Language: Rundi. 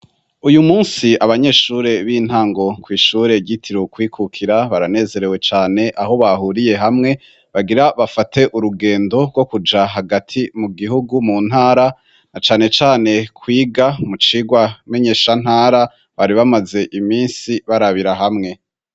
Uyu munsi abanyeshuri b'intango kw'ishure ryitirwe "ukwikukira" baranezerewe cane, aho bahuriye hamwe bagira bafate urugendo rwo kuja hagati mu gihugu, mu ntara na cane cane kwiga mu cigwa menyeshantara bari bamaze iminsi barabira hamwe.